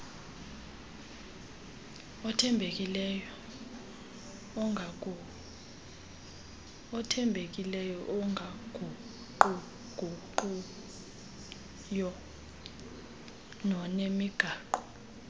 othembekileyo ongaguquguqiyo nonemigaqo